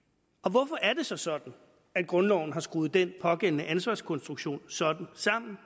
hvorfor er det så sådan at grundloven har skruet den pågældende ansvarskonstruktion sådan sammen